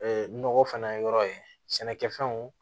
nɔgɔ fana yɔrɔ ye sɛnɛkɛfɛnw